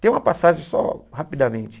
Tem uma passagem só, rapidamente.